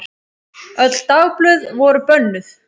Öll dagblöð voru bönnuð.